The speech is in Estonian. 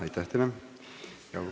Aitäh teile!